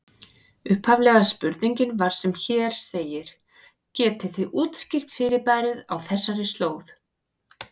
Upphaflega spurningin var sem hér segir: Getið þið útskýrt fyrirbærið á þessari slóð?